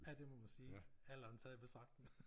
Ja det må man sige alderen taget i betragtning